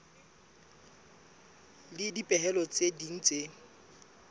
le dipehelo tse ding tse